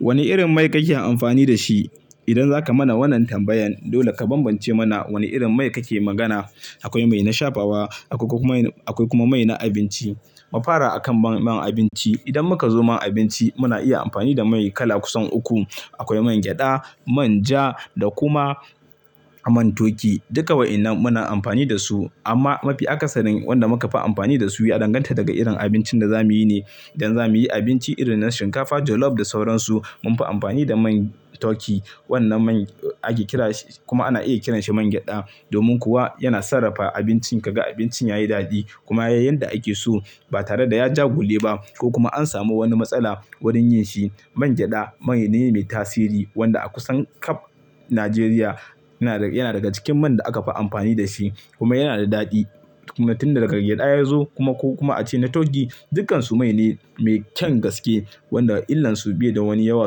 Wane irin mai kake amfani da shi? Idan zaka mana wannan tambayan, dole ka bambance mana wane irin mai kake magana. Akwai mai na shafawa, akwai kuma mai na abinci. Mafara akan man abinci, idan muka zo man abinci muna iya amfani da mai kala kusan uku. Akwai man gyada, man ja da kuma man toki. Duka waɗannan muna amfani da su amma mafi akasarin wanda muka fi amfani da su ya danganta daga irin abincin da zamuyi ne. Idan zamuyi abinci irin na shinkafa jolof da sauransu, munfi amfani da man toki. Wannan man ake kira shi kuma ana iya kiranshi man gyada domin kuwa yana sarrafa abincin, kaga abincin yayi daɗi kuma yayi yanda ake so ba tare da ya ja gule ba ko kuma an samu wani matsala wurin yin shi. Man gyada man ne mai tasiri wanda a kusan ƙab Najeriya yana daga cikin man da akafi amfani da shi kuma yana da daɗi. Tun daga gyada ya zo kuma ko kuma ace na toki, dukkansu mai ne mai kyan gaske wanda illansu biye da wani yawa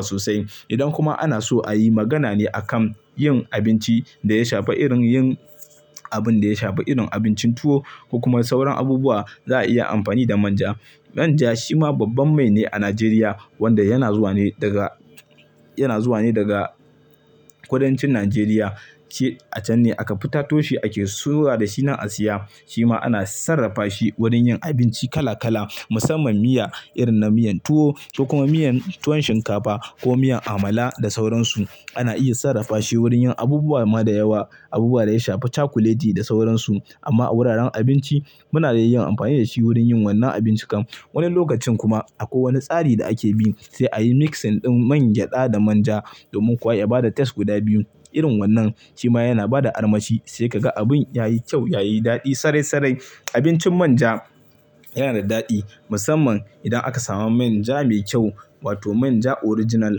sosai. Idan kuma ana so ayi magana ne a kan yin abinci da ya shafa irin yin abun da ya shafa irin abincin tuwo ko kuma sauran abubuwa za a iya amfani da manja. Manja shima babban mai ne a Najeriya wanda yana zuwa ne daga, yana zuwa ne daga kudancin Najeriya. Ce a can ne aka fita toshi ake soya da shi nan a siya. Shima ana sarrafa shi wurin yin abinci kala kala musamman miya irin na miyan tuwo ko kuma miyan tuwon shinkafa ko miyan amala da sauransu. Ana iya sarrafa shi wurin yin abubuwa ma da yawa, abubuwa da ya shafa cakoleti da sauransu. Amma a wuraren abinci muna da yin amfani da shi wurin yin wannan abincikan. Wani lokacin kuma a ko wani tsari da ake bi sai ayi mixing ɗin man gyada da manja domin kuwa ya bada taste guda biyu irin wannan. Shima yana bada armashi sai kaga abun yayi kyau, yayi daɗi sarai sarai. Abincin manja yana da daɗi musamman idan aka samu manja me kyau wato manja original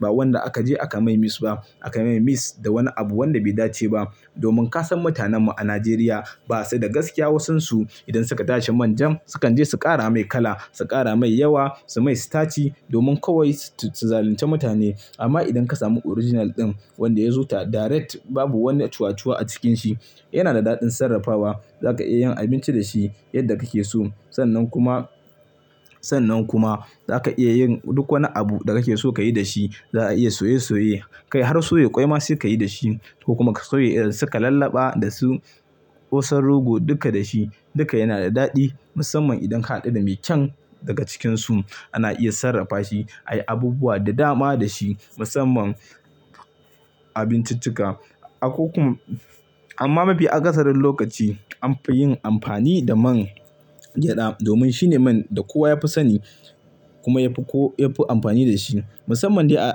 ba wanda aka je aka mai mix ba aka mai mix da wani abu wanda bai dace ba. Domin ka san mutanen mu a Najeriya basa da gaskiya wasansu idan suka tashi manjan sukan je su kara mai kala, su kara mai yawa, su mai sitaci domin kawai su zalunce mutane. Amma idan ka samu original ɗin wanda ya zo ta direct babu wani cuwacuwa a cikanshi yana da daɗin sarrafawa. Zaka iya yin abinci da shi yadda kake so. Sannan kuma, sannan kuma zaka iya yin duk wani abu da kake so kayi da shi. Za a iya soye soye, kai har soye ƙwai ma sai kayi da shi ko kuma ka soye idan suka lallaba da su ƙosan rogo duka da shi duka yana da daɗi musamman idan ka haɗu da me kyan daga cikinsu. Ana iya sarrafa shi, ayi abubuwa da dama da shi musamman abinciccika. Akoku-- amma mafi akasarin lokaci anfi yin amfani da man gyada domin shine man da kowa yafi sani kuma yafi ko-- yafi amfani da shi musamman dai a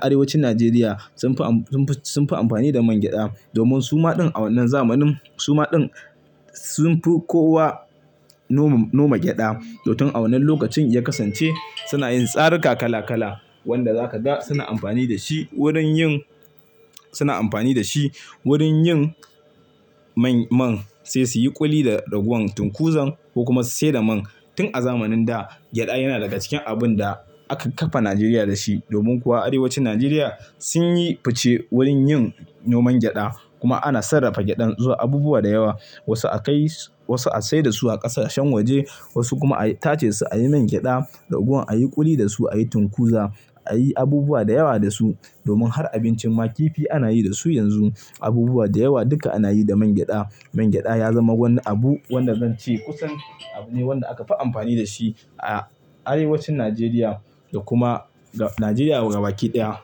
arewacin Najeriya sunfi am-- sunfi amfani da man gyada domin suma ɗin a wannan zamanin suma ɗin sunfi kowa noma, noma gyada. To tun a wannan lokacin ya kasance suna yin tsarika kala kala wanda zaka ga suna amfani da shi wurin yin, suna amfani da shi wurin yin man man sai suyi ƙuli da raguwan tunkuzan ko kuma su sayar da man. Tun a zamanin da gyada yana daga cikin abun da aka kafa Najeriya da shi domin kuwa arewacin Najeriya sun yi fice wurin yin noman gyada kuma ana sarrafa gyadan zuwa abubuwa da yawa. Wasu a kai, wasu a sayar da su a ƙasashen waje wasu kuma a tace su ayi man gyada, raguwan ayi ƙuli da su, ayi tunkuza, ayi abubuwa da yawa da su. Domin har abincin makifi anayi da su yanzu abubuwa da yawa duka anayi da man gyada. Man gyada ya zama wani abu wanda zan ce kusan abu ne wanda akafi amfani da shi a arewacin Najeriya da kuma Najeriya gaba ƙi ɗaya.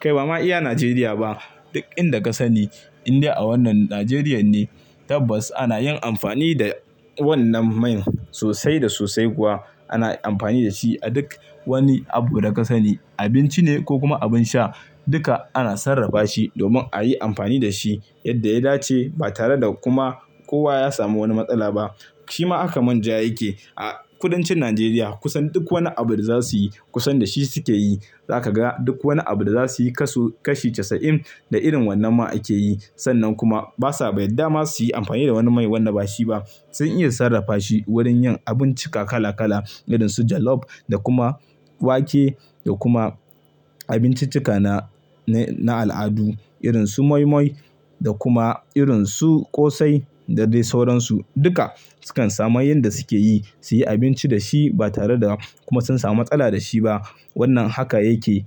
Kai bama iya Najeriya ba duk inda ka sani Indai a wannan Najeriya ne tabbas ana yin amfani da wannan man sosai da sosai kuwa. Ana amfani da shi a duk wani abu da ka sani abinci ne ko kuma abin sha duka ana sarrafa shi domin ayi amfani da shi yadda ya dace ba tare da kuma kowa ya samu wani matsala ba. Shima haka manja yake a kudancin Najeriya kusan duk wani abu da za suyi kusan da shi suke yi. Za ka ga duk wani abu da za suyi kasu kashi casa'in da irin wannan ma akeyi. Sannan kuma basa yadda ma suyi amfani da wani mai wanda ba shi ba. Sun iya sarrafa shi wurin yin abincika kala kala irin su jolof da kuma wake da kuma abinciccika na, na al'adu irin su moi moi da kuma irin su ƙosai da dai sauransu. Duka sukan samu yanda sukeyi suyi abinci da shi ba tare da kuma sun samu matsala da shi ba. Wannan haka yake.